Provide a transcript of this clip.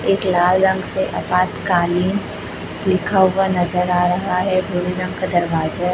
एक लाल रंग से आपातकालीन लिखा हुआ नजर आ रहा है भूरे रंग का दरवाजा--